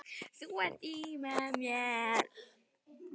Þú ert í mér.